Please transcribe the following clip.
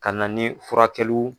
Ka na ni furakɛliw